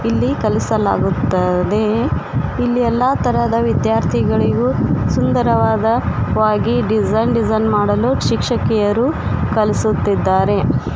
ಎಲ್ಲಿ ಕಲಿಸಲಾಗುತ್ತದೆ ಇಲ್ಲಿ ಎಲ್ಲಾ ತರದ ವಿದ್ಯಾರ್ಥಿಗಳಿಗೂ ಸುಂದರವಾದ ವಾಗಿ ಡಿಸೈನ್ ಮಾಡಲು ಶಿಕ್ಷಕಿಯರು ಕಲಿಸುತ್ತಿದ್ದಾರೆ.